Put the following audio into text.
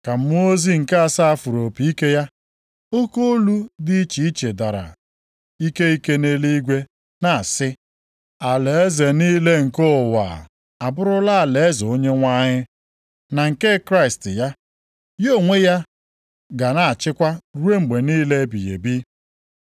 Ka mmụọ ozi nke asaa fụrụ opi ike ya, oke olu dị iche iche dara ike ike nʼeluigwe, na-asị, “Alaeze niile nke ụwa abụrụla alaeze Onyenwe anyị, na nke Kraịst ya. Ya onwe ya ga-achịkwa ruo mgbe niile ebighị ebi.”